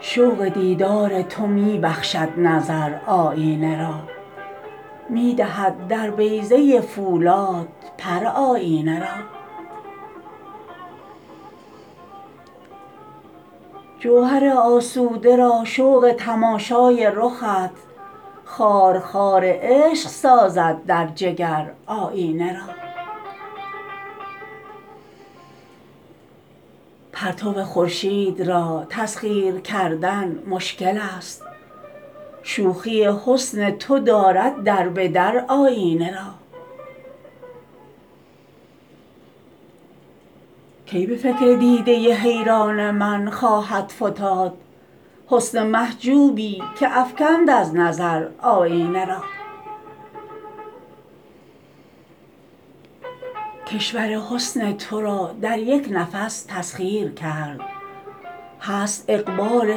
شوق دیدار تو می بخشد نظر آیینه را می دهد در بیضه فولاد پر آیینه را جوهر آسوده را شوق تماشای رخت خارخار عشق سازد در جگر آیینه را پرتو خورشید را تسخیر کردن مشکل است شوخی حسن تو دارد دربدر آیینه را کی به فکر دیده حیران من خواهد فتاد حسن محجوبی که افکند از نظر آیینه را کشور حسن ترا در یک نفس تسخیر کرد هست اقبال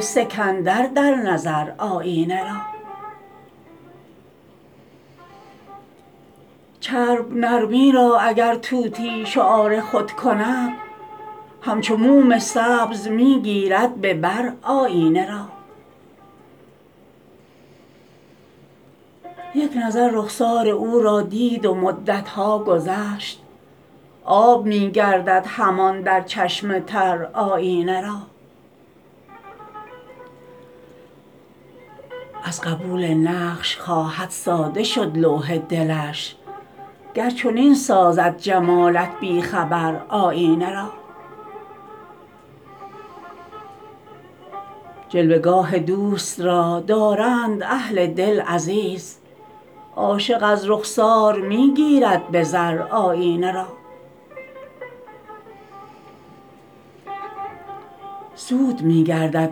سکندر در نظر آیینه را چرب نرمی را اگر طوطی شعار خود کند همچو موم سبز می گیرد به بر آیینه را یک نظر رخسار او را دید و مدتها گذشت آب می گردد همان در چشم تر آیینه را از قبول نقش خواهد ساده شد لوح دلش گر چنین سازد جمالت بی خبر آیینه را جلوه گاه دوست را دارند اهل دل عزیز عاشق از رخسار می گیرد به زر آیینه را زود می گردد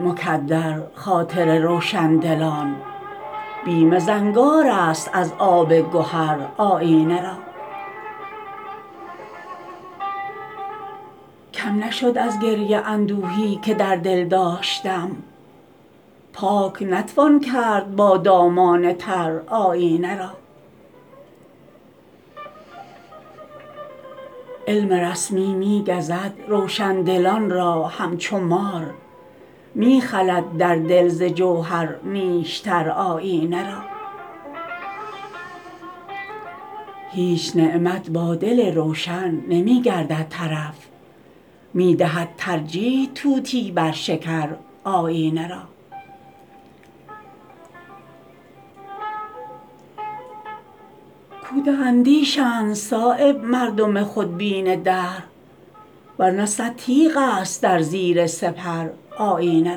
مکدر خاطر روشندلان بیم زنگارست از آب گهر آیینه را کم نشد از گریه اندوهی که در دل داشتم پاک نتوان کرد با دامان تر آیینه را علم رسمی می گزد روشندلان را همچو مار می خلد در دل ز جوهر نیشتر آیینه را هیچ نعمت با دل روشن نمی گردد طرف می دهد ترجیح طوطی بر شکر آیینه را کوته اندیشند صایب مردم خودبین دهر ورنه صد تیغ است در زیر سپر آیینه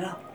را